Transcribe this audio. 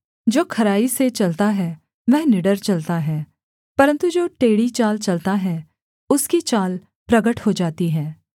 जो खराई से चलता है वह निडर चलता है परन्तु जो टेढ़ी चाल चलता है उसकी चाल प्रगट हो जाती है